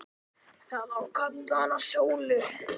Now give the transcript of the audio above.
Það á að kalla hana Sólu.